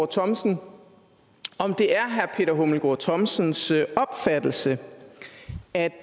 thomsen om det er herre peter hummelgaard thomsens opfattelse at